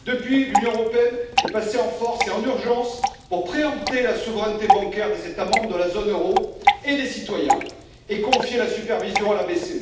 Depuis, l'Union européenne est passée en force et en urgence pour préempter la souveraineté bancaire des États membres de la zone euro et des citoyens, et confier la supervision à la BCE.